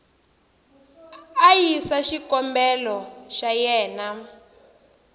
a yisa xikombelo xa yena